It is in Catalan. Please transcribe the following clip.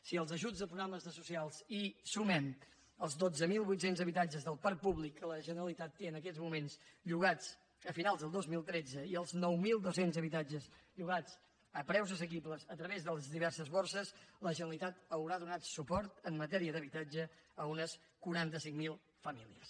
si als ajuts a programes socials hi sumem els dotze mil vuit cents habitatges del parc públic que la generalitat té en aquests moments llogats a finals del dos mil tretze i els nou mil dos cents habitatges llogats a preus assequibles a través de les diverses borses la generalitat haurà donat suport en matèria d’habitatge a unes quaranta cinc mil famílies